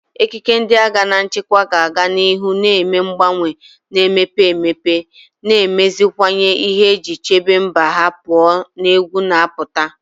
Ekike ndị agha na nchekwa ga-aga n'ihu na-eme mgbanwe, na-emepe emepe, na imeziwanye ihe iji chebe mba ha pụọ na egwu na-apụta.